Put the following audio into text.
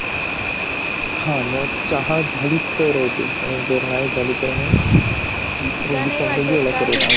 हा मग चहा झाली तर नाही झालं तर मग